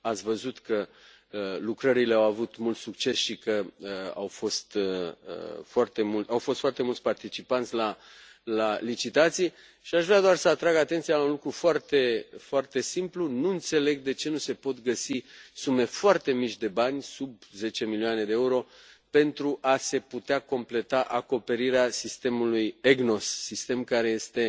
Ați văzut că lucrările au avut mult succes și că au fost foarte mulți participanți la licitații și aș vrea doar să atrag atenția asupra unui lucru foarte simplu nu înțeleg de ce nu se pot găsi sume foarte mici de bani, sub zece milioane de euro, pentru a se putea completa acoperirea sistemului EGNOS, sistem care este